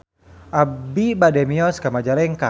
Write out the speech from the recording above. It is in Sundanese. Abi bade mios ka Majalengka